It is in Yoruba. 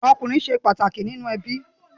Ọmọkunrin ṣe pataki ninu ẹbi